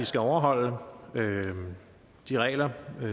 skal overholde de regler